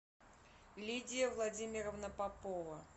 лидия владимировна попова